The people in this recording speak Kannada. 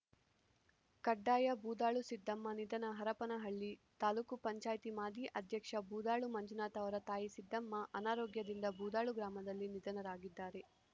ಕಡ್ಡಾಯ ಬೂದಾಳು ಸಿದ್ದಮ್ಮ ನಿಧನ ಹರಪನಹಳ್ಳಿ ತಾಲೂಕು ಪಂಚಾಯ್ತಿ ಮಾಜಿ ಅಧ್ಯಕ್ಷ ಬೂದಾಳು ಮಂಜುನಾಥ ಅವರ ತಾಯಿ ಸಿದ್ದಮ್ಮ ಅನಾರೋಗ್ಯದಿಂದ ಬೂದಾಳು ಗ್ರಾಮದಲ್ಲಿ ನಿಧನರಾಗಿದ್ದಾರೆ